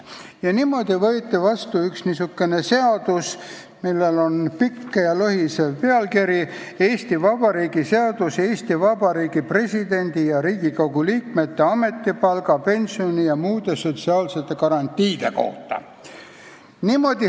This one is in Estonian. Ja niimoodi võeti Ülemnõukogus vastu üks niisugune seadus, millel oli pikk ja lohisev nimetus: Eesti Vabariigi seadus "Eesti Vabariigi presidendi ja Riigikogu liikmete ametipalga, pensioni ja muude sotsiaalsete garantiide kohta".